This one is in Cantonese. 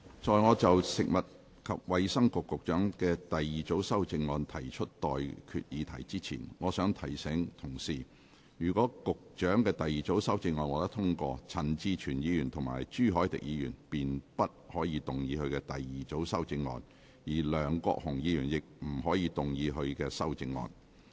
在我就食物及衞生局局長的第二組修正案提出待決議題之前，我想提醒各位，若局長的第二組修正案獲得通過，陳志全議員及朱凱廸議員便不可動議他們的第二組修正案，而梁國雄議員亦不可動議他的修正案。